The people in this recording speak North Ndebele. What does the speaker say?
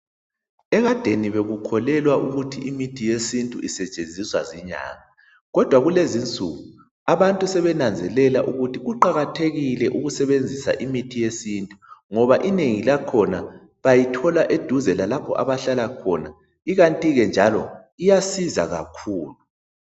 Ekadeni bekukholelwa ukuthi imithi yesintu isetshenziswa zinyanga kodwa kulezinsuku abantu sebenanzelela kuqakathekile ukusebenzisa imithi ngoba inengi lakhona bayithola eduze lalapho abahlala khona kanti ke iyasiza kakhulu.